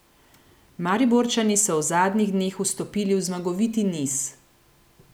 Mariborčani so v zadnjih dneh vstopili v zmagoviti niz.